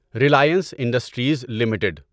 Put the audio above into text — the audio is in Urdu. Reliance Industries limited